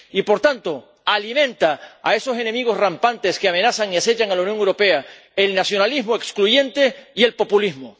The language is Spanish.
Y, por tanto, alimenta a esos enemigos rampantes que amenazan y acechan a la Unión Europea el nacionalismo excluyente y el populismo.